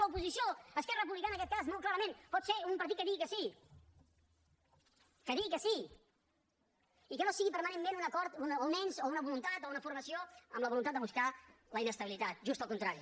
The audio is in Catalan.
l’oposició esquerra republicana en aquest cas molt clarament pot ser un partit que digui que sí que digui que sí i que no sigui permanentment un acord o un ens o una voluntat o una formació amb la voluntat de buscar la inestabilitat just al contrari